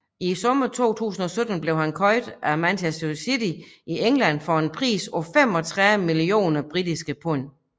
I sommeren 2017 blev han købt af Manchester City i England for en pris på 35 millioner britiske pund